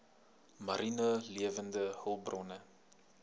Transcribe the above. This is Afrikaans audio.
mariene lewende hulpbronne